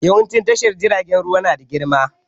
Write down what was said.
Yawancin tashar jiragen ruwa nada girma